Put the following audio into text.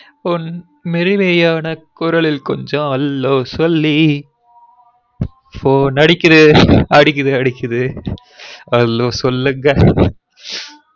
உன் மெல்லிமையன குரலில் கொஞ்சம் hello சொல்லி phone அடிக்குது அடிக்குது அடிக்குது hello சொல்லுங்க